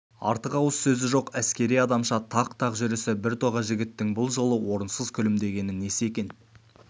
артық ауыз сөзі жоқ әскери адамша тақ-тақ жүрісі біртоға жігіттің бұл жолы орынсыз күлімдегені несі екен